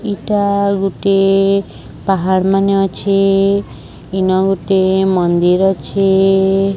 ଏଇଟା ଗୁଟେ ପାହାଡ଼ ମାନେ ଅଛେ ଇନ ଗୋଟିଏ ମନ୍ଦିର ଅଛେ।